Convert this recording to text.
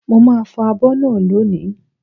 Mo màá fọ̀ abọ́ náà lónìí